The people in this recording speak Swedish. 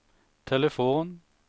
telefon